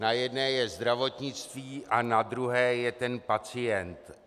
Na jedné je zdravotnictví a na druhé je ten pacient.